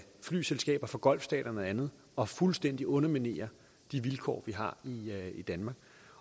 flyselskaber fra golfstaterne og andet og fuldstændig underminerer de vilkår vi har i danmark